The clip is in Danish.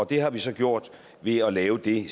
det har vi så gjort ved at lave det